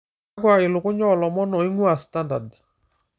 kakua ilukuny oolomon oing'ua standard